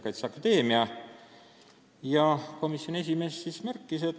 Jüri Adamsit huvitas, mida see seadusmuudatus toob kaasa keeleõppe korraldajale ja õppes osalejale.